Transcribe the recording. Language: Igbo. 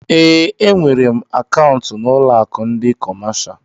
Eé, e nwèrè m akaụntu n'ụlọ akụ ndị kọmáshá